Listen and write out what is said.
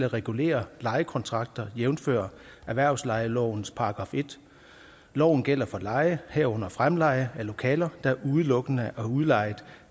regulering af lejekontrakter jævnfør erhvervslejelovens § 1 loven gælder for leje herunder fremleje af lokaler der udelukkende er udlejet